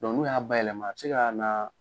n'u y'a bayɛlɛma a bɛ se ka na